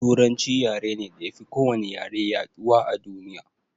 Turanci yare ne da yafi ko wani yare yaɗuwa a duniya